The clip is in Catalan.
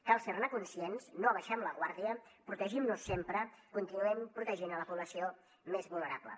cal ser ne conscients no abaixem la guàrdia protegim nos sempre continuem protegint la població més vulnerable